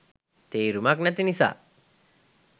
තේරුමක් නැති නිසා